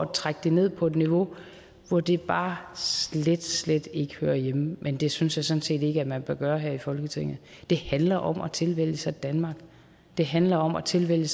trække det ned på et niveau hvor det bare slet slet ikke hører hjemme men det synes jeg sådan set ikke man bør gøre her i folketinget det handler om at tilvælge danmark det handler om at tilvælge